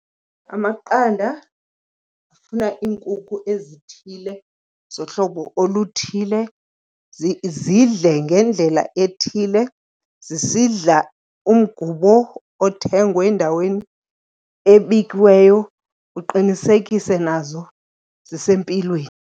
Amaqanda afuna iinkukhu ezithile zohlobo oluthile, zidle ngendlela ethile, zisidla umgubo othengwe endaweni ebikiweyo, uqinisekise nazo zisempilweni.